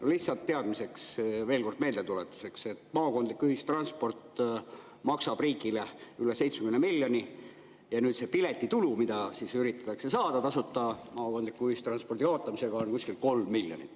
Aga lihtsalt teadmiseks, veel kord meeldetuletuseks, et maakondlik ühistransport maksab riigile üle 70 miljoni ja see piletitulu, mida üritatakse nüüd saada tasuta maakondliku ühistranspordi kaotamisega, on kuskil 3 miljonit.